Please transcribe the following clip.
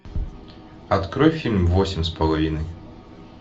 открой фильм восемь с половиной